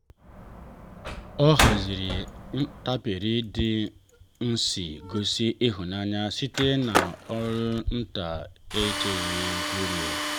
nleta ya dị jụụ ghọrọ nke a gaghị echefu jupụtara na mkparịta ụka miri emi na ndidi